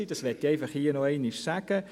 Das möchte ich hier einfach nochmals sagen.